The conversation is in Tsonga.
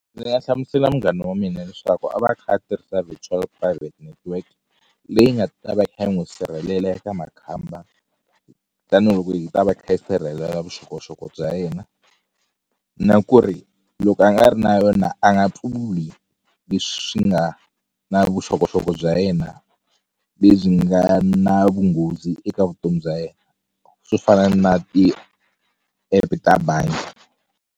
Ndzi nga hlamusela munghana wa mina leswaku a va a kha a tirhisa virtual private network leyi nga ta va yi kha yi n'wi sirhelela eka makhamba tanihiloko yi ta va yi kha yi sirhelela vuxokoxoko bya yena na ku ri loko a nga ri na yona a nga pfuli leswi swi nga na vuxokoxoko bya yena lebyi nga na vunghozi eka vutomi bya yena swo fana na ti-app ta bangi.